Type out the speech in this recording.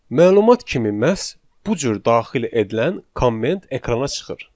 Məlumat kimi məhz bu cür daxil edilən komment ekrana çıxır.